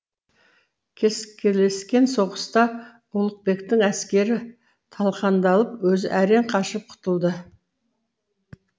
кескілескен соғыста ұлықбектің әскері талқандалып өзі әрең қашып құтылды